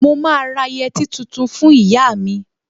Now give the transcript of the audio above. Mo máa ra yẹtí tuntun fún ìyá mi